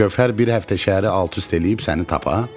Gövhər bir həftə şəhəri alt-üst eləyib səni tapa?